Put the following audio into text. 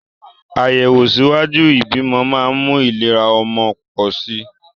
Àyẹ̀wò ṣíwájú ìbímọ máa ń mú ìlera ọmọ pọ̀ sí i